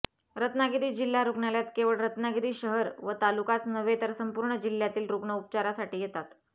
रत्नागिरी जिल्हा रुग्णालयात केवळ रत्नागिरी शहर व तालुकाच नव्हे तर संपूर्ण जिल्ह्यातील रुग्ण उपचारासाठी येतात